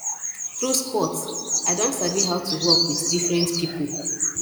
through sports i don sabi how to work with different pipo